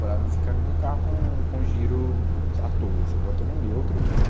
французском как у мундиру автобус обоссанные от руки